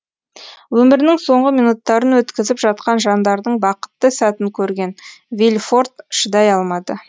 өмірінің соңғы минуттарын өткізіп жатқан жандардың бақытты сәтін көрген вильфорт шыдай алмады